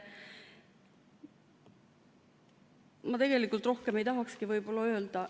Ma rohkem ei tahakski öelda.